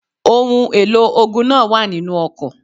Ohun èlò ogun náà wà nínu ọkọ̀.